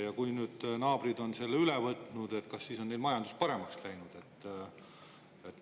Ja kui naabrid on selle üle võtnud, siis kas neil on majandus paremaks läinud?